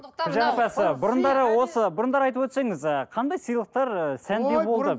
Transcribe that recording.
бұрындары осы бұрындары айтып өтсеңіз ы қандай сыйлықтар ы сәнде болды ой бұрын